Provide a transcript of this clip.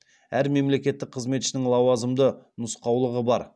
әр мемлекеттік қызметшінің лауазымды нұсқаулығы бар